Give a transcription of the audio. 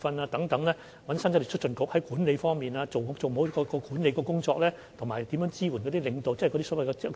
我們邀請香港生產力促進局協助，令前線管理人員能做好每一項管理工作，我們會進行全套工作。